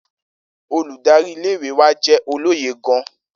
Oludari ìle-ìwe wa jẹ́ olóye gan-an.